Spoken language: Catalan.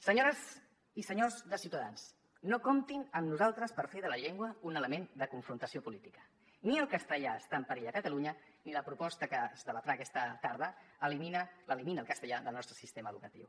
senyores i senyors de ciutadans no comptin amb nosaltres per fer de la llengua un element de confrontació política ni el castellà està en perill a catalunya ni la proposta que es debatrà aquesta tarda l’elimina el castellà del nostre sistema educatiu